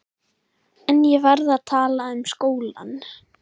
En ég verð að tala um skólann.